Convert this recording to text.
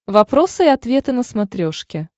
вопросы и ответы на смотрешке